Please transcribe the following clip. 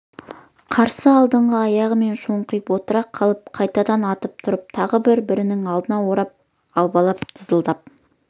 қарсы алдыңғы аяғымен шоңқиып отыра қалып қайтадан атып тұрып тағы бірінің алдын орап абалап дызылдап